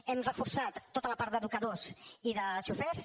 hem reforçat tota la part d’educadors i de xofers